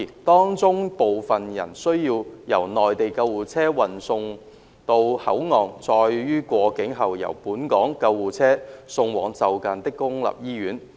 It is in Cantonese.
當中部分人需要由內地救護車運送到口岸，再於過境後由本港救護車送往就近的公立醫院。